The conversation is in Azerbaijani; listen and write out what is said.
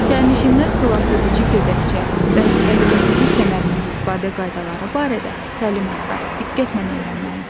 Sərnişinlər xilasedici gödəkçə və təhlükəsizlik kəmərindən istifadə qaydaları barədə təlimatları diqqətlə öyrənməlidirlər.